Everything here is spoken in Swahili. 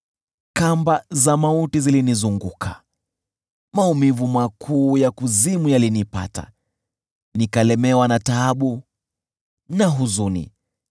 Kamba za mauti zilinizunguka, maumivu makuu ya kuzimu yalinipata, nikalemewa na taabu na huzuni.